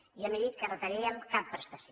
jo no he dit que retallaríem cap prestació